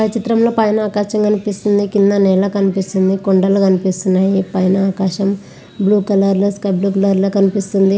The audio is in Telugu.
పై చిత్రం లో పైన ఆకాశం కనిపిస్తుంది.కింద నేల కనిపిస్తుంది .కొండలు కనిపిస్తున్నాయి. పైన ఆకాశం బ్లూ కలర్ లో లో కనిపిస్తున్నాయి.